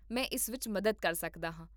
ਮੈਂ ਇਸ ਵਿੱਚ ਮਦਦ ਕਰ ਸਕਦਾ ਹਾਂ